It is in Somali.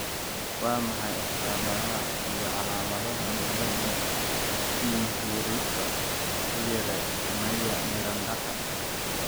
Waa maxay astamaha iyo calaamadaha cilada Pinheiroka Freire Maia Mirandaka?